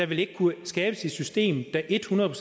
vil kunne skabes et system der et hundrede